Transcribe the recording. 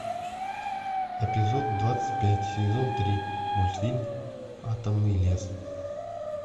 эпизод двадцать пять сезон три мультфильм атомный лес